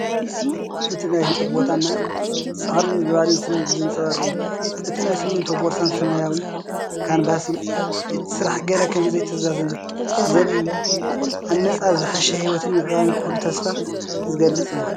እቲ ናይ ህንጸት ቦታ ናይ ጻዕርን ምዕባለን ስምዒት ዘንጸባርቕ እዩ። እቲ ናይ ሲሚንቶ ቦርሳን ሰማያዊ ካንቫስን እቲ ስራሕ ገና ከምዘይተዛዘመ ዘርኢ እዩ። ኣብ መጻኢ ዝሓሸ ህይወትን ምዕባለን ክህሉ ተስፋ ዝገልጽ እዩ።